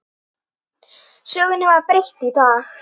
Sögunni var breytt í dag.